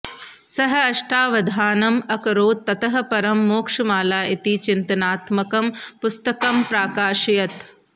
सः अष्टावधानम् अकरोत् ततः परं मोक्षमाला इति चिन्तनात्मकं पुस्तकं प्राकाशयत्